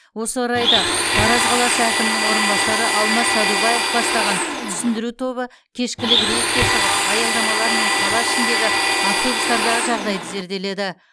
осы орайда тараз қаласы әкімінің орынбасары алмас садубаев бастаған түсіндіру тобы кешкілік рейдке шығып аялдамалар мен қала ішіндегі автобустардағы жағдайды зерделеді